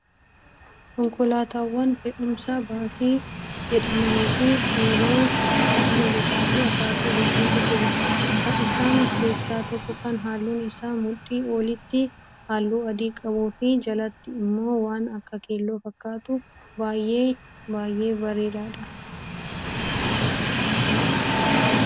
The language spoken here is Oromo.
Konkolaataawwan fe'umsaa baasii jedhamanii fi dheeroo ta'an gosaa fi akaakuu hedduutu jiru. Isaan keessaa tokko kan halluun isaa mudhii olitti halluu adii qabuu fi jalatti immoo waan akka keelloo fakkaatu baay'ee baay'ee bareedaadha.